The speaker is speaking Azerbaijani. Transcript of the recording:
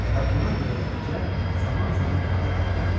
Və buna görə də Nəcəf zaman-zaman qanıqara olurdu.